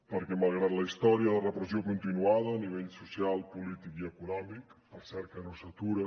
perquè malgrat la història la repressió continuada a nivell social polític i econòmic per cert que no s’atura